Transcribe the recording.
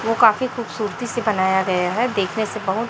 वो काफी खूबसूरती से बनाया गया है देखने से बहुत।